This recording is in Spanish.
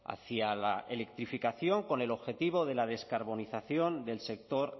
hacia la electrificación con el objetivo de la descarbonización del sector